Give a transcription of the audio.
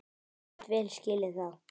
Ég get vel skilið það.